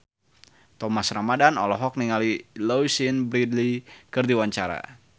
Thomas Ramdhan olohok ningali Louise Brealey keur diwawancara